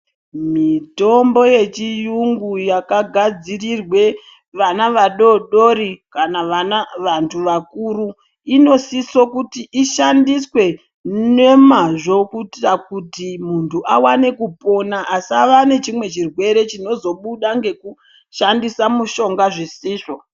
Mitombo yechiyungu yaKagadzirirwe vana vadodori kana vana vantu vakuru inosise kuti ishandiswe nemazvo kuitira kuti muntu awane kupona asave ngechimwe chirwere chinozobuda ngekushandisa mushonga zvisizvo.